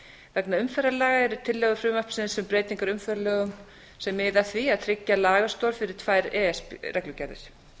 vegna umferðarlaga eru tillögur frumvarpsins um breytingar á umferðarlögum sem miða að því að tryggja lagastoð fyrir tvær e e s reglugerðir